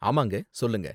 ஆமாங்க, சொல்லுங்க.